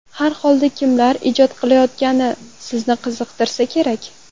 Har holda kimlar ijod qilayotgani sizni qiziqtirsa kerak?